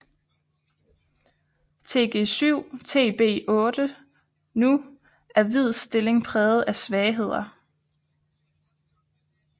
Tg7 Tb8 Nu er hvids stilling præget af svagheder